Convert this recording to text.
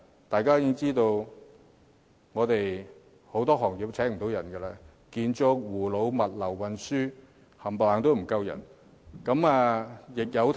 大家也知道很多行業無法聘請人手，建築、護老、物流、運輸等行業全部人手不足。